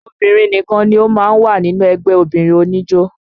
Obìnrin nìkan ni ó máa ń wà nínú ẹgbẹ́ obìnrin oníjó